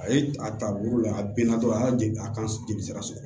A ye a ta bolo la a bɛna dɔrɔn a y'a ka jelisira sɔrɔ